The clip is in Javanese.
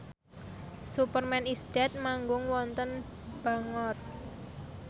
Superman is Dead manggung wonten Bangor